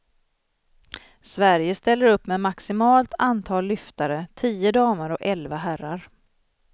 Sverige ställer upp med maximalt antal lyftare, tio damer och elva herrar.